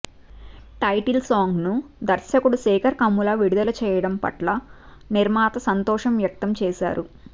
title సాంగ్ను దర్శకుడు శేఖర్ కమ్ముల విడుదల చేయడం పట్ల నిర్మాత సంతోషం వ్యక్తం చేశారు